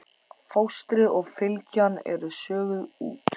Fóstrið og fylgjan eru soguð út.